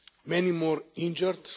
Many more injured.